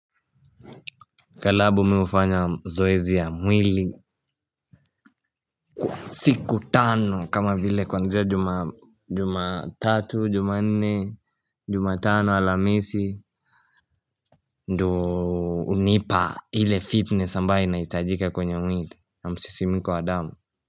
Kila wiki mimi hufanya zoezi ya mwili, siku tano kama vile kuanzia Jumatatu, Jumanne, Jumatano, Alhamisi. Ndio hunipa ile fitness ambayo inahitajika kwenye mwili na msisimko wa damu.